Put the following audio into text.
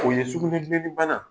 O ye sugunɛ bileni bana